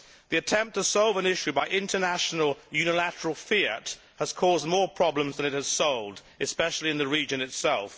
The attempt to solve an issue by international unilateral fiat has caused more problems than it has solved, especially in the region itself.